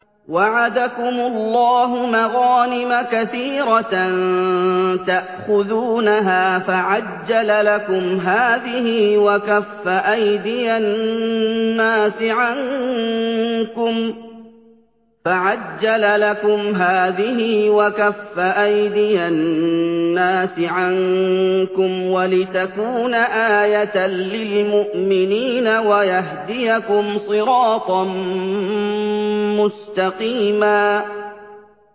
وَعَدَكُمُ اللَّهُ مَغَانِمَ كَثِيرَةً تَأْخُذُونَهَا فَعَجَّلَ لَكُمْ هَٰذِهِ وَكَفَّ أَيْدِيَ النَّاسِ عَنكُمْ وَلِتَكُونَ آيَةً لِّلْمُؤْمِنِينَ وَيَهْدِيَكُمْ صِرَاطًا مُّسْتَقِيمًا